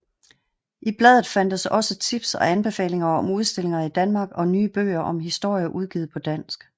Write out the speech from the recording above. I bladet fandtes også tips og anbefalinger om udstillinger i Danmark og nye bøger om historie udgivet på dansk